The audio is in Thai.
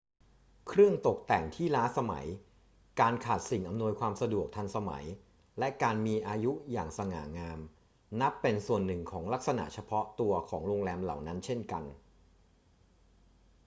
เครื่องตกแต่งที่ล้าสมัย การขาดสิ่งอำนวยความสะดวกทันสมัย และการมีอายุอย่างสง่างามนับเป็นส่วนหนึ่งของลักษณะเฉพาะตัวของโรงแรมเหล่านั้นเช่นกัน